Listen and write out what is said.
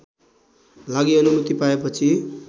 लागी अनुमति पाएपछि